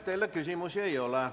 Teile küsimusi ei ole.